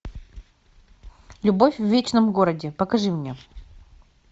любовь в вечном городе покажи мне